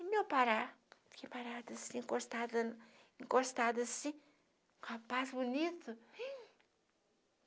E meu parar, fiquei parada assim, encostada, encostada assim, com um rapaz bonito. Rim